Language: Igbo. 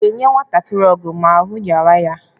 A ga-enwe nwantakiri ọgwụ ma ahụ rịawa ya?